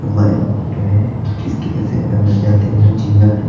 White है इसके ऐसे अंदर जाते हुए जीना है।